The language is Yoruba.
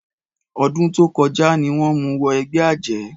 Ọdún tó kọjá ni wọ́n mú wọ ẹgbẹ́ àjẹ́.